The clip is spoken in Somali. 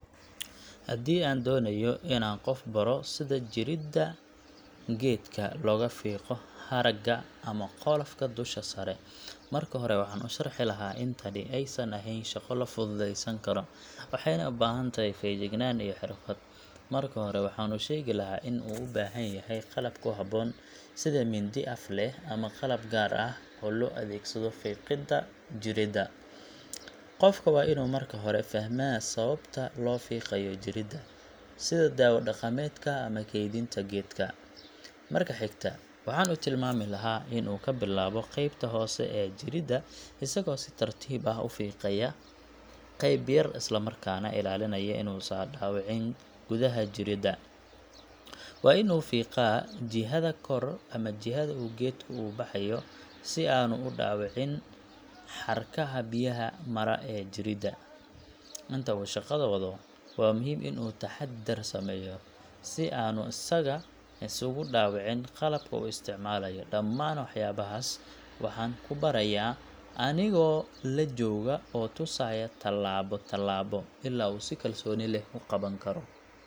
Haddii aan doonayo inaan qof baro sida jirida geedka looga fiiqo haragga ama qolofka dusha sare, marka hore waxaan u sharxi lahaa in tani aysan ahayn shaqo la fududeysan karo, waxayna u baahan tahay feejignaan iyo xirfad. Marka hore, waxaan u sheegi lahaa in uu u baahan yahay qalab ku habboon sida mindi af leh ama qalab gaar ah oo loo adeegsado fiiqidda jirida. Qofka waa inuu marka hore fahmaa sababta loo fiiqayo jirida, sida dawo-dhaqameedka ama kaydinta geedka. Marka xigta, waxaan u tilmaami lahaa in uu ka bilaabo qeybta hoose ee jirida, isagoo si tartiib ah u fiiqaya qeyb yar isla markaana ilaalinaya inuusan dhaawicin gudaha jirida. Waa in uu fiiqaa jihada kor ama jihada uu geedku u baxayo si aanu u dhaawacin xarkaha biyaha mara ee jirida. Inta uu shaqada wado, waa muhiim in uu taxaddar sameeyo si aanu isaga isugu dhaawicin qalabka uu isticmaalayo. Dhammaan waxyaabahaas waxaan ku barayaa anigoo la jooga oo tusaya tallaabo tallaabo, ilaa uu si kalsooni leh u qaban karo.